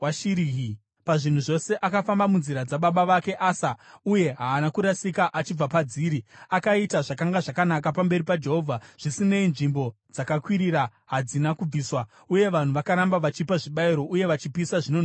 Pazvinhu zvose akafamba munzira dzababa vake Asa uye haana kurasika achibva padziri; akaita zvakanga zvakanaka pamberi paJehovha. Zvisinei, nzvimbo dzakakwirira hadzina kubviswa, uye vanhu vakaramba vachipa zvibayiro uye vachipisa zvinonhuhwira ikoko.